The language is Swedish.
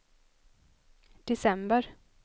december